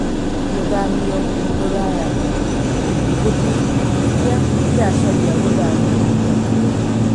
Gũthamio Rũraya: Ngũthi iria iracaria gũthamio na kĩo